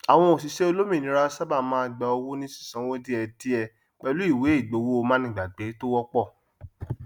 àwọn òṣìṣẹ olómìnira sáábà máa gbà owó ní sísanwó díẹdíẹ pẹlú ìwé ìgbowó manígbàgbé tó wọpọ